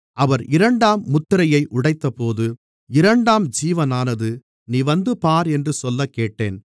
அவர் இரண்டாம் முத்திரையை உடைத்தபோது இரண்டாம் ஜீவனானது நீ வந்து பார் என்று சொல்லக்கேட்டேன்